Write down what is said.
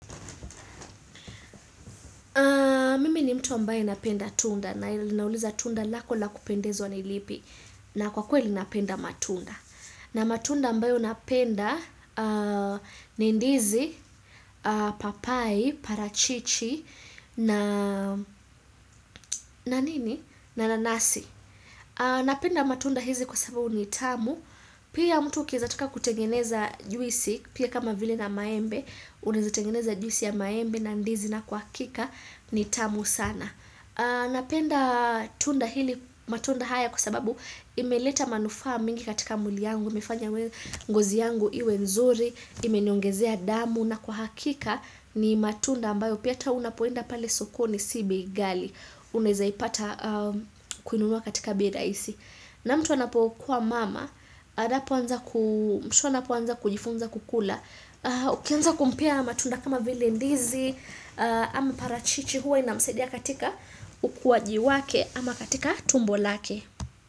Mimi ni mtu mbae napenda tunda na ilinauliza tunda lako lakupendezo na ilipi na kwa kuwe napenda matunda. Na matunda mbae unapenda nindizi, papai, parachichi na nanasi. Napenda matunda hizi kwa sababu nitamu. Pia mtu ukeza tuka kutengeneza juisi, pia kama vile na maembe, unizatengeneza juisi ya maembe na ndizi na kwa kika nitamu sana. Napenda tunda hili matunda haya kusababu imeleta manufa mingi katika muli yangu, mefanya ngozi yangu iwe mzuri, imenyongezea damu na kwa hakika ni matunda ambayo piyata unapoenda pale sokone sibei gali. Unezaeipata kuinunua katika bei rahisi na mtu anapo kuwa mama anapo anza kujifunza kukula ukianza kumpea ama tunda kama vile ndizi ama parachichi huwa inamusadia katika ukwaji wake ama katika tumbo lake.